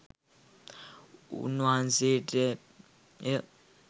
උන්වහන්සේට ය.